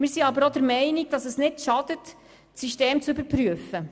Allerdings schadet es nicht, das System zu überprüfen.